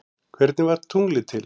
Hvernig varð tunglið til?